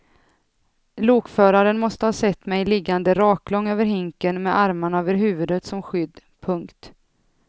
Lokföraren måste ha sett mig liggande raklång över hinken med armarna över huvudet som skydd. punkt